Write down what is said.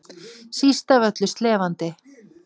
Síst af öllu slefandi.